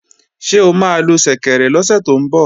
Ṣé o máa lo ṣẹ̀kẹ̀rẹ̀ lọ́sẹ̀ tó ń bọ̀?